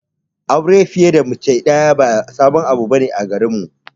Auren fiye da mace daya ba sabon abu bane a garinmu.